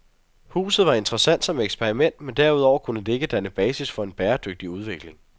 Huset var interessant som eksperiment, men derudover kunne det ikke danne basis for en bæredygtig udvikling.